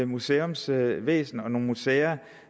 museumsvæsen og nogle museer